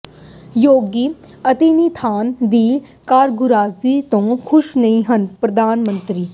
ਯੋਗੀ ਅਦਿੱਤਿਆਨਾਥ ਦੀ ਕਾਰਗੁਜ਼ਾਰੀ ਤੋਂ ਖੁਸ਼ ਨਹੀਂ ਹਨ ਪ੍ਰਧਾਨ ਮੰਤਰੀ